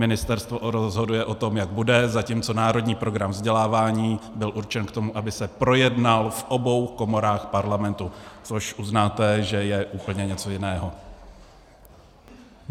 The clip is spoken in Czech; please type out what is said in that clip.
Ministerstvo rozhoduje o tom, jak bude, zatímco národní program vzdělávání byl určen k tomu, aby se projednal v obou komorách Parlamentu, což uznáte, že je úplně něco jiného.